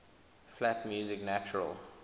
flat music natural